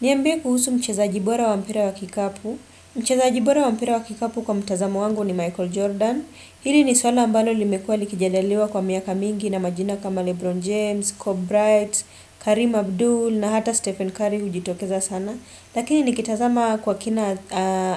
Niambia kuhusu mchezaji bora wa mpira wa kikapu. Mchezaji bora wa mpira wa kikapu kwa mtazamo wangu ni Michael Jordan. Hili ni swala ambalo limekuwa likijadiliwa kwa miaka mingi na majina kama Lebron James, Cobb Wright, Karim Abdul na hata Stephen Curry hujitokeza sana. Lakini ni kitazama kwa kina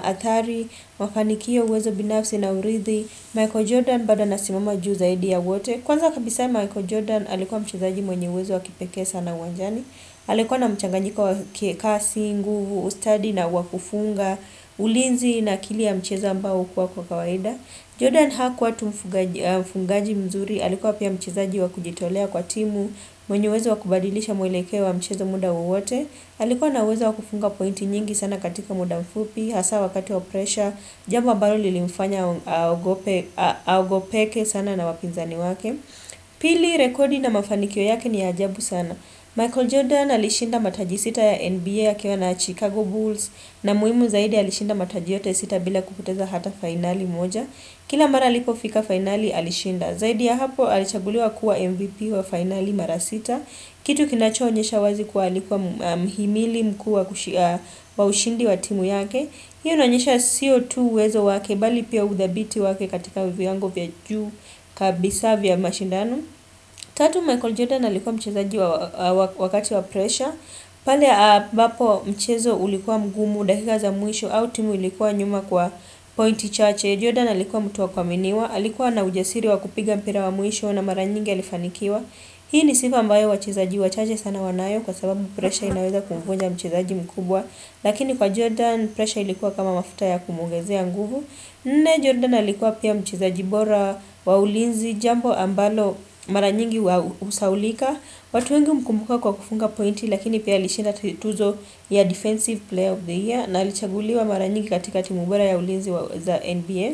Athari, mafanikio uwezo binafsi na urithi, Michael Jordan bado anasimama juu zaidi ya wote. Kwanza kabisa Michael Jordan alikuwa mchezaji mwenye uwezo wakipeke sana wanjani. Alikuwa na mchanganyiko wa kasi nguvu, ustadi na wakufunga, ulinzi na akili ya mchezo ambao huwa kwa kawaida Jordan Hakuwa tu mfungaji mzuri alikua pia mchezaji wa kujitolea kwa timu mwenye uwezo wakubadilisha mwelekeo wa mcheza muda wowote alikuwa na uwezo wakufunga pointi nyingi sana katika muda mfupi, hasa wakati wa presha Jambo ambalo lilimfanya aogopeke sana na wapinzani wake Pili rekodi na mafanikio yake ni ya ajabu sana Michael Jordan alishinda mataji sita ya NBA ya akiwa na Chicago Bulls na muhimu zaidi alishinda mataji yote sita bila kupoteza hata fainali moja. Kila mara alipofiko fainali alishinda. Zaidi ya hapo alichaguluwa kuwa MVP wa finali mara sita. Kitu kinachoonyesha wazi kuwa alikuwa mhimili mkuu wa ushindi wa timu yake. Hii inaonyesha sio tu uwezo wake bali pia uthabiti wake katika viwango vya juu kabisa vya mashindano. Tatu Michael Jordan alikuwa mchezaji wakati wa pressure. Pale ambapo mchezo ulikuwa mgumu dakika za mwisho au timu ilikuwa nyuma kwa pointi chache. Jordan alikuwa mtu wa kuaminiwa. Alikuwa na ujasiri wa kupiga mpira wa mwisho na mara nyingi alifanikiwa. Hii ni sifa ambayo wachezaji wa chache sana wanayo kwa sababu pressure inaweza kumvunja mchezaji mkubwa. Lakini kwa Jordan pressure ilikuwa kama mafuta ya kumuongezea nguvu. Nne Jordan alikuwa pia mchezaji bora wa ulinzi jambo ambalo mara nyingi husahaulika. Watu wengi humkumbuka kwa kufunga pointi lakini pia alishinda tuzo ya Defensive Player of the Year na alichaguliwa mara nyingi katika timu bora ya ulinzi za NBA.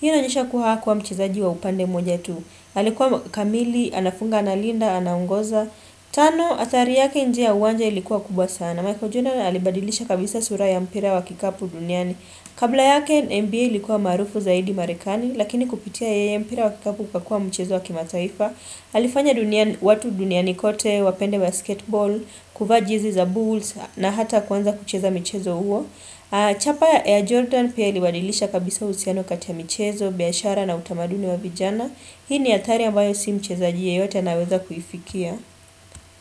Hii inaonyesha kuwa hakuwa mchezaji wa upande mmoja tu. Alikuwa kamili, anafunga analinda, anaongoza. Tano, athari yake nje ya uwanja ilikuwa kubwa sana. Michael Jordan alibadilisha kabisa sura ya mpira wa kikapu duniani. Kabla yake NBA ilikuwa maarufu zaidi marekani lakini kupitia yeye mpira wa kikapu ukakua mchezo wa kimataifa alifanya watu duniani kote, wapende basketebol, kuvaa jeji za bulls na hata kuanza kucheza mchezo huo Chapa ya Jordan pia ilibadilisha kabisa uhusiano kati ya michezo, biashara na utamaduni wa vijana Hii ni athari ambayo si mchezaji yeyote anaweza kuifikia.